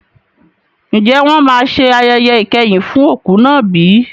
Ǹjẹ́ wọn máa ṣe ayẹyẹ ìkẹyìn fún òkú náà bí?